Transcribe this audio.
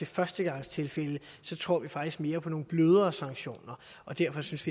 førstegangstilfælde så tror vi faktisk mere på nogle blødere sanktioner derfor synes